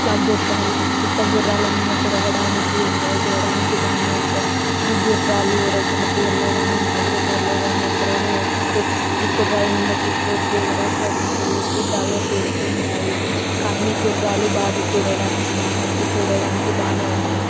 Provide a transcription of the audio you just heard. ఇట్లా గుర్రాల మీద తిరగ దానికి ఎంజాయ్ చెయ్యడానికి బానే ఉంటాయ్. ఈ గుర్రాలు ఉరవకొండ తీరులో గానీ మా ఊరు లో గానీ ఎక్కడైనా వేశారు. ఈ గుర్రాలు మీద కూర్చోవచ్చు. ఎగరొచ్చు. అన్ని చేయవచ్చు గాల్లో తేలుతుంటాయి. కానీ గుర్రాలు చూడటానికి బానే ఉంది. చూడటానికి బానే ఉంటాయి.